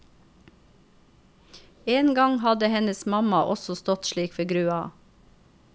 En gang hadde hennes mamma også stått slik ved grua.